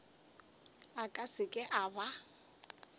a ka seke a ba